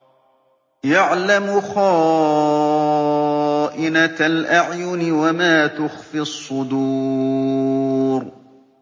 يَعْلَمُ خَائِنَةَ الْأَعْيُنِ وَمَا تُخْفِي الصُّدُورُ